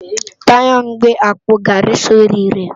Tayo n gbé ápó gári si óri rè